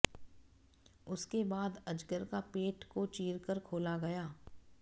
उसके बाद अजगर का पेट को चीरकर खोला गया